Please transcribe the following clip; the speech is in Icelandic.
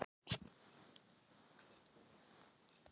Koma með mér svolítið.